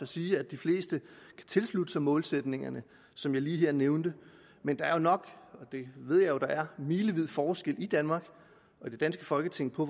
siger at de fleste kan tilslutte sig målsætningerne som jeg lige her nævnte men der er nok og det ved jeg jo der er milevid forskel i danmark og det danske folketing på